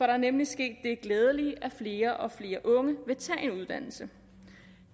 er nemlig sket det glædelige at flere og flere unge vil tage en uddannelse